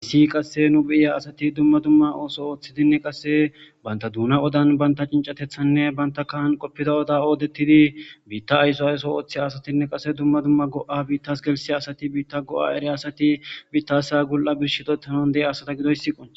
essi qasse nu beyiya asati dumma dumma ooso ooththidinne qasse banta duuna odan banta cincatethanne banta kahan qoppida oda oodettidi biitta ayso ayso ooththi asatinne qase dumma dumma go7a biittas gelsi asati biitta go7a eere asati biittasa gul7a bish hidoethanan de7ya asata gidoyssiqon